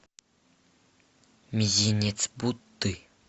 мизинец будды